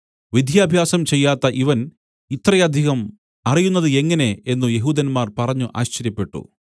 വിദ്യാഭ്യാസം ചെയ്യാത്ത ഇവൻ ഇത്രയധികം അറിയുന്നത് എങ്ങനെ എന്നു യെഹൂദന്മാർ പറഞ്ഞു ആശ്ചര്യപ്പെട്ടു